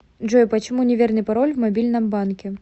джой почему неверный пароль в мобильном банке